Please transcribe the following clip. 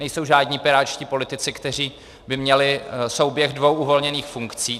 Nejsou žádní pirátští politici, kteří by měli souběh dvou uvolněných funkcí.